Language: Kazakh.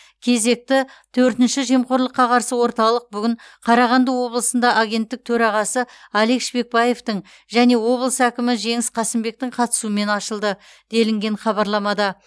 кезекті төртінші жемқорлыққа қарсы орталық бүгін қарағанды облысында агенттік төрағасы алик шпекбаевтың және облыс әкімі жеңіс қасымбектің қатысуымен ашылды делінген хабарламада